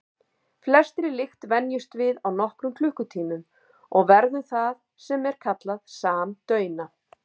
Flestri lykt venjumst við á nokkrum klukkutímum og verðum það sem er kallað samdauna.